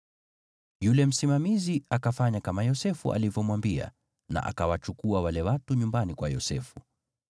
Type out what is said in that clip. Yule Msimamizi akafanya kama Yosefu alivyomwambia na akawachukua wale watu nyumbani kwa Yosefu.